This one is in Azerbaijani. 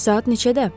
Saat neçədə?